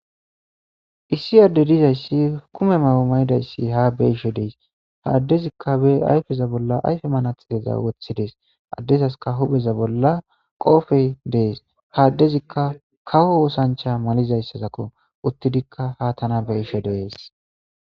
Issi addey dizaysi kume mayo mayidaysi haa be'ishe dees. Ha addezika bees ayfe bolla ayfe manaxire woththidees. Ha adezasika huphe bolla qoofey dees. Ha addezika kawo oothancha malizaysako. Uttidika haa tana be'ishe dees.